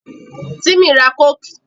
Tímì ra Kóòkì